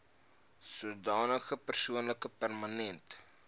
sodanige persoon permanent